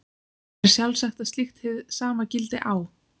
Er sjálfsagt að slíkt hið sama gildi á